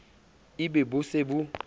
e be bo se bo